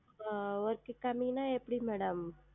ஆஹ் Work கம்மின்னா எப்டி Madam